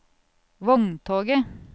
vogntoget